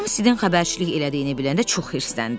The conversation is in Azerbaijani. Tom Sidin xəbərçilik elədiyini biləndə çox hirsləndi.